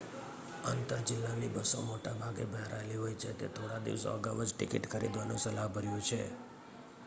આંતર-જિલ્લાની બસો મોટા ભાગે ભરાયેલી હોય છે તો થોડા દિવસો અગાઉ જ ટિકિટ ખરીદવાનું સલાહભર્યું છે